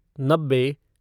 नब्बे